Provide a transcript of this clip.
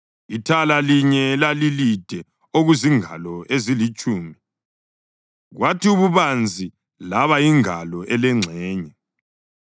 Ithala linye lalilide okuzingalo ezilitshumi, kwathi ububanzi laba yingalo elengxenye,